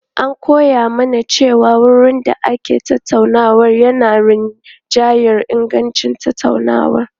An koya mana cewa wurin da ake tattaunawa yana rinjayar ingancin tattaunawa.